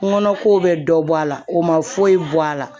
Nɔnɔ ko bɛ dɔ bɔ a la o ma foyi bɔ a la